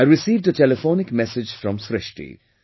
I received a telephonic message from Srishti